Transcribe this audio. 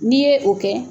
N'i ye o kɛ